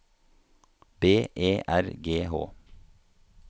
B E R G H